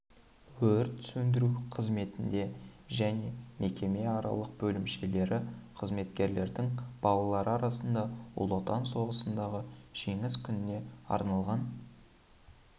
өрт сөндіру қызметінде және мекеме аралық бөлімшелері қызметкерлердің балалары арасында ұлы отан соғысындағы жеңіс күніне арналған